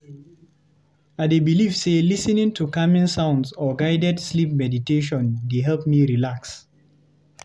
I dey believe say lis ten ing to calming sounds or guided sleep meditation dey help me relax.